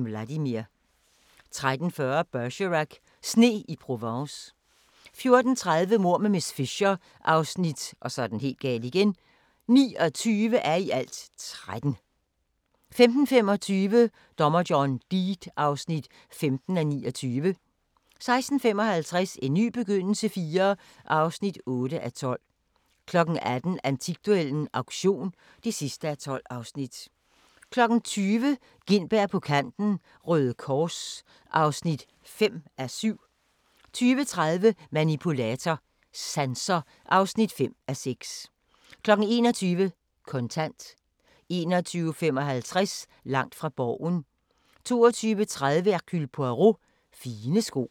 13:40: Bergerac: Sne i Provence 14:30: Mord med miss Fisher (29:13) 15:25: Dommer John Deed (15:29) 16:55: En ny begyndelse IV (8:12) 18:00: Antikduellen - auktion (12:12) 20:00: Gintberg på Kanten – Røde Kors (5:7) 20:30: Manipulator – Sanser (5:6) 21:00: Kontant 21:55: Langt fra Borgen 22:30: Hercule Poirot: Fine sko med spænder